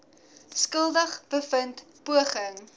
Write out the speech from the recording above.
skuldig bevind poging